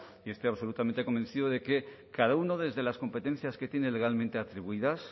y estoy absolutamente convencido de que cada uno desde las competencias que tiene legalmente atribuidas